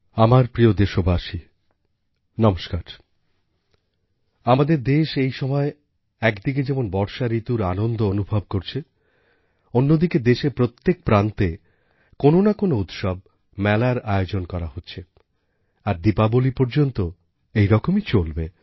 আমারপ্রিয়দেশবাসী নমস্কার আমাদের দেশ এই সময় একদিকে যেমন বর্ষা ঋতুর আনন্দ অনুভব করছে অন্যদিকে দেশের প্রত্যেক প্রান্তে কোনো না কোনো উৎসব মেলার আয়োজন করা হচ্ছে আর দীপাবলি পর্যন্ত এই রকমই চলবে